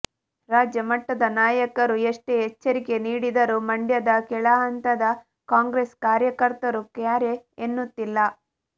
ರಾಜ್ಯಮಟ್ಟದ ನಾಯಕರು ಎಷ್ಟೇ ಎಚ್ಚರಿಕೆ ನೀಡಿದರೂ ಮಂಡ್ಯದ ಕೆಳಹಂತದ ಕಾಂಗ್ರೆಸ್ ಕಾರ್ಯಕರ್ತರು ಕ್ಯಾರೆ ಎನ್ನುತ್ತಿಲ್ಲ